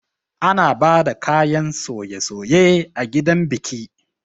Ana bada kayan soye-soye a gidan biki